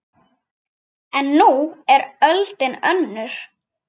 En nú er öldin önnur.